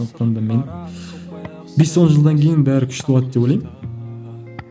сондықтан да мен бес он жылдан кейін бәрі күшті болады деп ойлаймын